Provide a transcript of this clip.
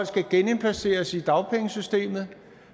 skal genindplaceres i dagpengesystemet